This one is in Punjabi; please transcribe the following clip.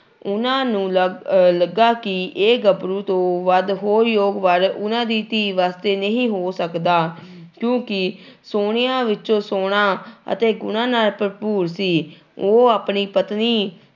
ਉਹਨਾਂ ਨੂੰ ਲੱਗ ਅਹ ਲੱਗਾ ਕਿ ਇਹ ਗੱਭਰੂ ਤੋਂ ਵੱਧ ਹੋਰ ਯੋਗ ਵਰ ਉਹਨਾਂ ਦੀ ਧੀ ਵਾਸਤੇ ਨਹੀਂ ਹੋ ਸਕਦਾ ਕਿਉਂਕਿ ਸੋਹਣਿਆਂ ਵਿੱਚੋਂ ਸੋਹਣਾ ਅਤੇ ਗੁਣਾਂ ਨਾਲ ਭਰਪੂਰ ਸੀ, ਉਹ ਆਪਣੀ ਪਤਨੀ